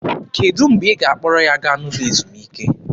Kedụ mgbe ị ga-akpọrọ ya gaa n'ụlọ ezumike?